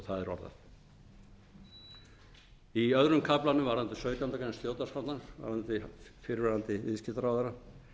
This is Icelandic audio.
orðað í öðrum kafla varðandi sautjándu grein stjórnarskrárinnar varðandi fyrrverandi viðskiptaráðherra